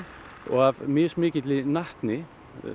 og af mismikilli natni